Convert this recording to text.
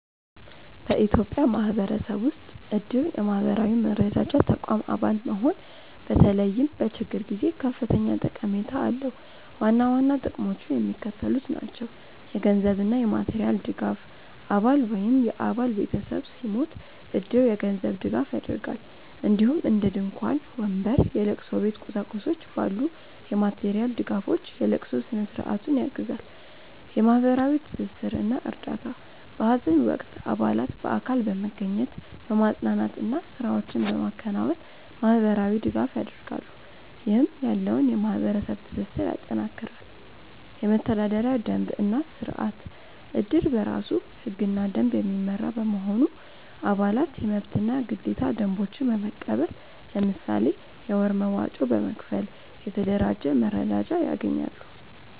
በኢትዮጵያ ማህበረሰብ ውስጥ እድር (የማህበራዊ መረዳጃ ተቋም) አባል መሆን በተለይም በችግር ጊዜ ከፍተኛ ጠቀሜታ አለው። ዋና ዋና ጥቅሞቹ የሚከተሉት ናቸው - የገንዘብ እና የማቴሪያል ድጋፍ: አባል ወይም የአባል ቤተሰብ ሲሞት እድር የገንዘብ ድጋፍ ያደርጋል፣ እንዲሁም እንደ ድንኳን፣ ወንበር፣ የለቅሶ ቤት ቁሳቁሶች ባሉ የማቴሪያል ድጋፎች የለቅሶ ስነ-ስርዓቱን ያግዛል። የማህበራዊ ትስስር እና እርዳታ: በሀዘን ወቅት አባላት በአካል በመገኘት፣ በማፅናናት እና ስራዎችን በማከናወን ማህበራዊ ድጋፍ ያደርጋሉ፣ ይህም ያለውን የማህበረሰብ ትስስር ያጠናክራል። የመተዳደሪያ ደንብ እና ስርአት: እድር በራሱ ህግና ደንብ የሚመራ በመሆኑ፣ አባላት የመብትና ግዴታ ደንቦችን በመቀበል፣ ለምሳሌ የወር መዋጮ በመክፈል፣ የተደራጀ መረዳጃ ያገኛሉ።